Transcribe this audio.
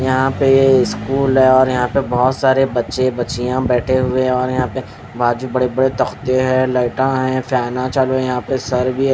यहाँ पे ये स्कूल हैं और यहाँ पे बहोत सारे बच्चे बच्चियाँ बैठी हुए हें और यहाँ पे बाजू बड़े बड़े तकते हैं लाइट हैं फैना चालू हें यहाँ पे सर भी हैं।